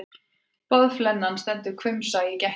Boðflennan stendur hvumsa í gættinni.